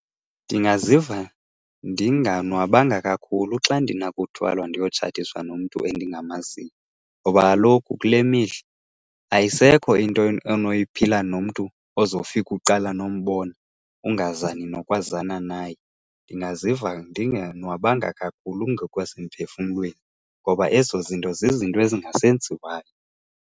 Ndingaziva ndinganwabanga kakhulu xa ndinakuthwalwa ndiyotshatiswa nomntu endingamaziyo ngoba kaloku kule mihla ayisekho into onoyiphila nomntu ozofika uqala nombona, ungazani nokwazana naye. Ndingaziva ndingonwabanga kakhulu ngokwasemphefumlweni ngoba ezo zinto zizinto ezingasenziwayo.